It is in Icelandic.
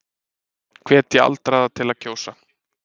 Hvetja aldraða til að kjósa